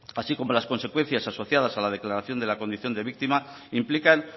así como las consecuencias asociadas a la declaración de la condición de víctima implican